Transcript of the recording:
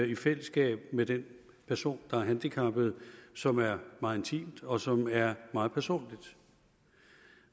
i fællesskab med den person der er handicappet som er meget intimt og som er meget personligt